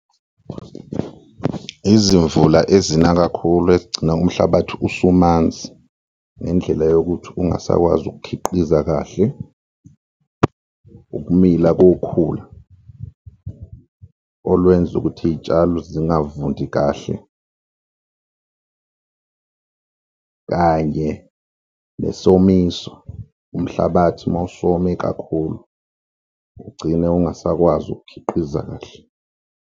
Izimvula ezina kakhulu ekugcina umhlabathi usumanzi ngendlela yokuthi ungasakwazi ukukhiqiza kahle, ukumila kukhula olwenza ukuthi iy'tshalo zingavundi kahle kanye nesomiso, umhlabathi mawusome kakhulu ugcine ungasakwazi ukukhiqiza kahle.